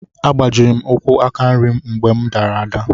A gbajiri m ụkwú aka nri m mgbe mụ dara ada.